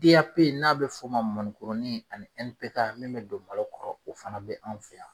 B A P n'a bɛ f'ɔ ma mɔnikuruni ani N P K min bɛ don balo kɔrɔ o fana bɛ an' fe yan.